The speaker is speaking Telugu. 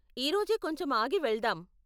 ఈ రోజే కొంచెం ఆగి వెళ్దాం.